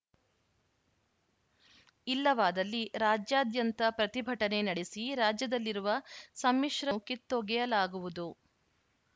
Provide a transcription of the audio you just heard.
ಇಲ್ಲವಾದಲ್ಲಿ ರಾಜ್ಯಾದ್ಯಂತ ಪ್ರತಿಭಟನೆ ನಡೆಸಿ ರಾಜ್ಯದಲ್ಲಿರುವ ಸಮ್ಮಿಶ್ರ ಕಿತ್ತೊಗೆಯಲಾಗುವುದು